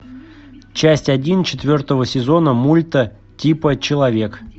часть один четвертого сезона мульта типа человек